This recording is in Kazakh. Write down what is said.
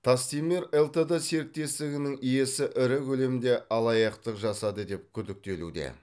тастемир лтд серіктестігінің иесі ірі көлемде алаяқтық жасады деп күдіктелуде